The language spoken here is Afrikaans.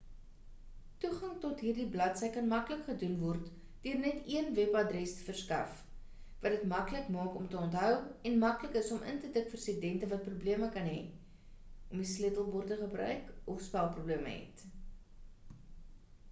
toegang tot hierdie bladsy kan maklik gedoen word deur net een webadres te verskaf wat dit maklik maak om te onthou en maklik is om in te tik vir studente wat probleme kan hê om die sleutelbord te gebruik of spelprobleme het